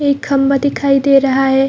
एक खम्बा दिखाई दे रहा है।